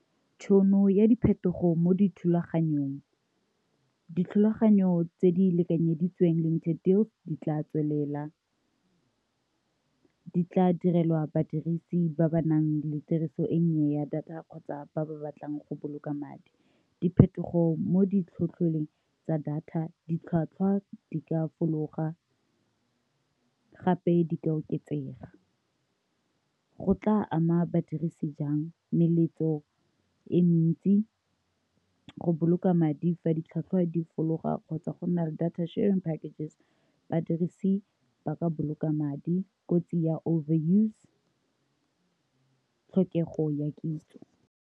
Tšhono ya diphetogo mo dithulaganyong dithulaganyo tse di lekanyeditsweng le ntshe dilo di tla tswelela ka direlwa badirisi ba ba nang le tiriso e nnye ya data kgotsa ba ba batlang go boloka madi, diphetogo mo ditlhopheng tsa data ditlhwatlhwa di ka fologa gape di ka oketsega go tla ama badirisi jang meletlo e mentsi go boloka madi fa di tlhatlhwa di fologa kgotsa go nna le data share and packages badirisi ba ka boloka madi kotsi ya over use, tlhokego ya kitso.